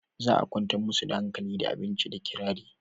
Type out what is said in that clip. za a kwantar musu da hankali da abinci da kirari